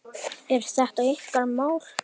Er þetta ykkar mál?